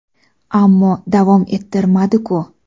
Ammo davom ettirmadi-ku.